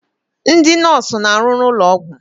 Ndị nọọsụ na-arụ n'ụlọ ọgwụ.